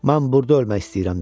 Mən burda ölmək istəyirəm dedi.